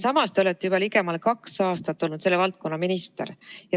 Samas olete te juba ligemale kaks aastat olnud selle valdkonna minister.